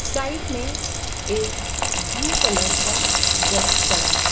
Side में एक blue colour का बॉक्स पड़ा है।